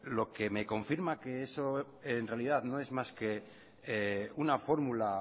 lo que me confirma que eso en realidad no es más que una fórmula